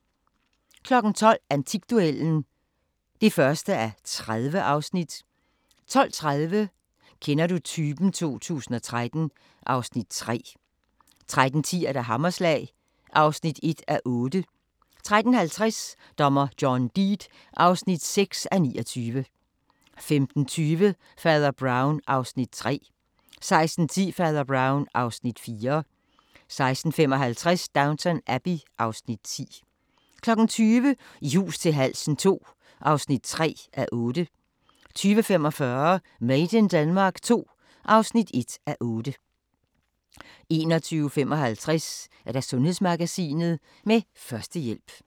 12:00: Antikduellen (1:30) 12:30: Kender du typen 2013 (Afs. 3) 13:10: Hammerslag (1:8) 13:50: Dommer John Deed (6:29) 15:20: Fader Brown (Afs. 3) 16:10: Fader Brown (Afs. 4) 16:55: Downton Abbey (Afs. 10) 20:00: I hus til halsen II (3:8) 20:45: Made in Denmark II (1:8) 21:55: Sundhedsmagasinet: Førstehjælp